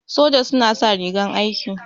Soja suna sa rigar aiki.